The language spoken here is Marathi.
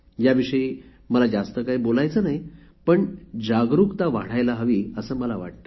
याविषयी मला जास्त काही बोलायचे नाही पण जागरुकता वाढायला हवी असे मला वाटते